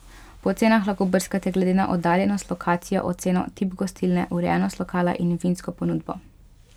Po ocenah lahko brskate glede na oddaljenost, lokacijo, oceno, tip gostilne, urejenost lokala in vinsko ponudbo.